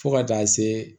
Fo ka taa se